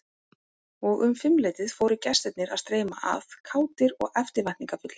Og um fimmleytið fóru gestirnir að streyma að, kátir og eftirvæntingarfullir.